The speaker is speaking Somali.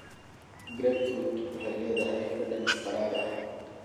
Grapefruit waxay leedahay dhadhan qadhaadh ah.